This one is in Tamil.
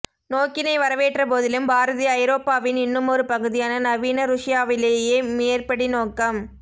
நோக்கினை வரவேற்ற போதிலும் பாரதி ஐரோப்பாவின் இன்னுமொரு பகுதியான நவீன ருஷ்யாவிலேயே மேற்படி நோக்கம்